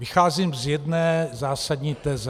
Vycházím z jedné zásadní teze.